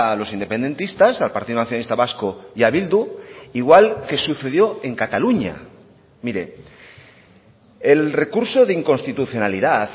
los independentistas al partido nacionalista vasco y a bildu igual que sucedió en cataluña mire el recurso de inconstitucionalidad